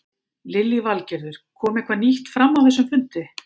Lillý Valgerður: Kom eitthvað nýtt fram á þessum fundi?